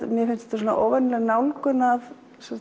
mér finnst þetta óvenjuleg nálgun af